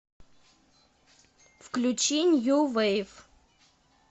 включи нью вейв